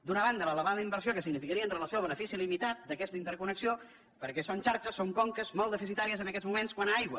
d’una banda l’elevada inversió que significaria amb relació al benefici limitat d’aquesta interconnexió perquè són xarxes són conques molt deficitàries en aquests moments quant a aigua